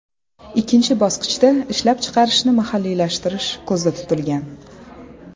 Ikkinchi bosqichda ishlab chiqarishni mahalliylashtirish ko‘zda tutilgan.